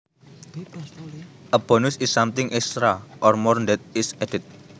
A bonus is something extra or more that is added